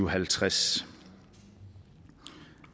og halvtreds